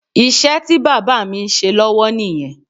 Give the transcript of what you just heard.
Iṣẹ́ tí bàbá mi ń ṣe lọ́wọ́ nìyẹn